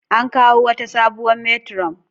An kawo wata sabuwar metiron